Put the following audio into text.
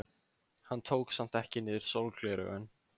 Hann tók samt ekki niður sólgleraugun.